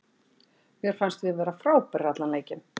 Mér fannst við vera frábærir allan leikinn.